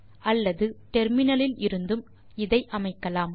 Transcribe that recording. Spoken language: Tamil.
அல்லது டெர்மினலில் இருந்தும் இதை அமைக்கலாம்